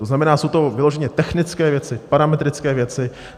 To znamená, jsou to vyloženě technické věci, parametrické věci.